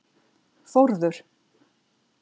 Þórður